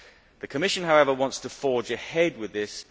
The Commission, however, wants to forge ahead with this.